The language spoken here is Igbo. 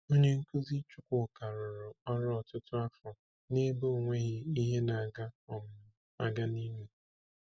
Onye nkuzi Chukwuka rụrụ ọrụ ọtụtụ afọ n’ebe onweghi ihe na-aga um aga n’Imo.